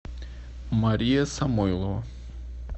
мария самойлова